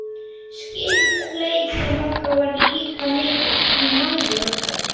Skyldleiki okkar var líka mikill, því mæður okkar